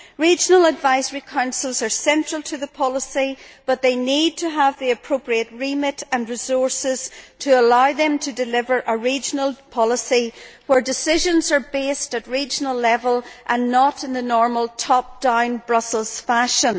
Regional advisory councils are central to the policy, but they need to have the appropriate remit and resources to allow them to deliver a regional policy where decisions are based at regional level and not in the normal top down Brussels fashion.